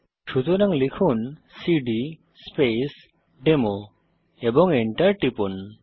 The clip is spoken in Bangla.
সুতরাং লিখুন সিডি স্পেস ডেমো এবং Enter টিপুন